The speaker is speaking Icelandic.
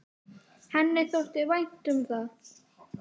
Henni þótti vænt um það.